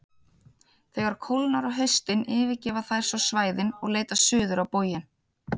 Þegar kólnar á haustin yfirgefa þær svo svæðin og leita suður á bóginn.